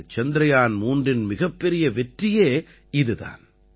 இந்த சந்திரயான் 3இன் மிகப்பெரிய வெற்றியே இது தான்